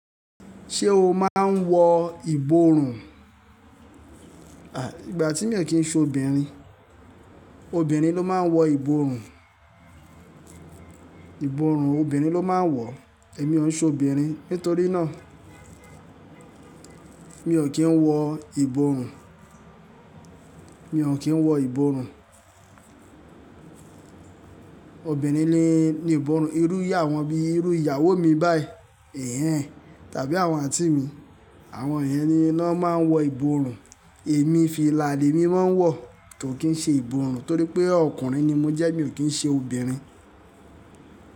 Ṣé o máa ń wọ ìborùn? Àí ìgbà tí mi ò kí ń ṣe obìnrin. Obìnrin ló máa ń wọ ìborùn. Ìborùn obìnrin ló máa ń wọ̀, èmi ò ń ṣobìnrin nítorí náà, mi ò kí ń wọ ìborùn, mi ò kí ń wọ ìborùn. Obìnrin ní ìborùn, irú awon bi, irú ìyàwó mi báyìí, ẹ̀hẹ̀n tàbí àwọn àǹtí mi. Àwọn yen ni ná máa ń wọ ìborùn. Èmi filaali lemi moń wọ̀ ko kí ń ṣe ìbòrùn torí pé ọkùnrin ni mo jẹ́, mi ò kí ń ṣe obìnrin.